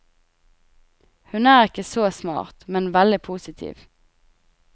Hun er ikke så smart, men veldig positiv.